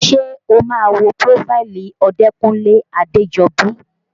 Ṣé o máa wo prófáìlì Odekunle Adejobi?